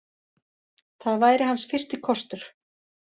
Það væri hans fyrsti kostur.